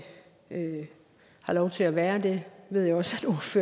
har lov til at være og det ved jeg også